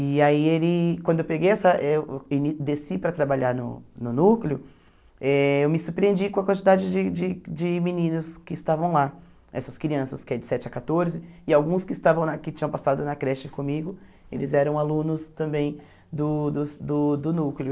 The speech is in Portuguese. E aí, ele quando eu peguei essa eu ini desci para trabalhar no no núcleo, eh eu me surpreendi com a quantidade de de de meninos que estavam lá, essas crianças, que é de sete a quatorze, e alguns que estavam na que tinham passado na creche comigo, eles eram alunos também do do ce do do núcleo.